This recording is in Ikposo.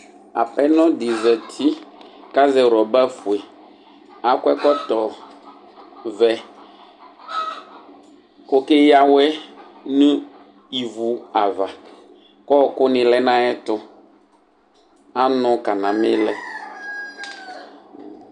Apɛnɔdi zati kʋ azɛ rɔbafue akɔ ɛkɔtɔvɛ kʋ ɔkɛya awɛ nʋ ivi ava kʋ ɔkʋni lɛnʋ ayʋ ɛtʋ anʋ kanami lɛ